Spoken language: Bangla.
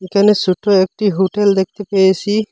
এখানে সোটো একটি হোটেল দেখতে পেয়েসি।